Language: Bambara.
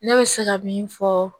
Ne bɛ se ka min fɔ